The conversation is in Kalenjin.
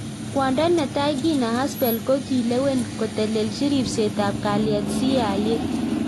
Kwondo netai Gina Haspel kokilewen kotelelchi ripset ab kalyet CIA